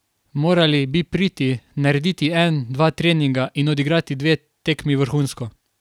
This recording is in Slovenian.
Morali bi priti, narediti en, dva treninga in odigrati dve tekmi vrhunsko.